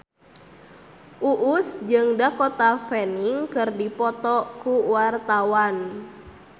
Uus jeung Dakota Fanning keur dipoto ku wartawan